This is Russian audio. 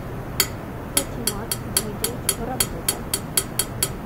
патимат дмитриевич воробьев